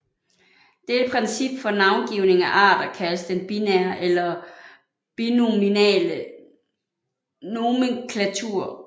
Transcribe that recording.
Dette princip for navngivning af arter kaldes den binære eller binominale nomenklatur